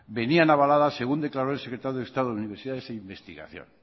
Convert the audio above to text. venían avaladas según declaró el secretario de estado de universidades e investigación